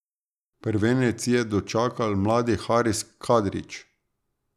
Prvenec je dočakal mladi Haris Kadrić.